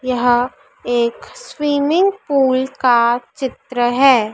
यहां एक swimming pool का चित्र है।